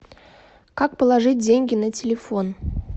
как положить деньги на телефон